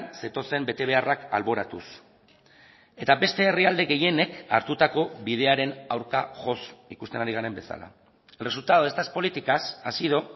zetozen betebeharrak alboratuz eta beste herrialde gehienek hartutako bidearen aurka joz ikusten ari garen bezala el resultado de estas políticas ha sido